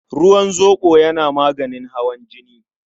Ruwan zoɓo yana maganin hawan jini.